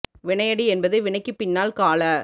வினையடி என்பது வினைக்குப் பின்னால் கால